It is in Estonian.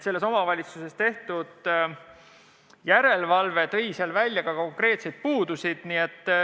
Selles omavalitsuses tehtud järelevalve käigus toodi välja konkreetseid puuduseid.